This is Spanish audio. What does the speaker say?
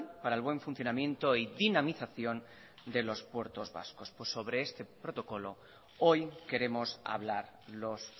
para el buen funcionamiento y dinamización de los puertos vascos pues sobre este protocolo hoy queremos hablar los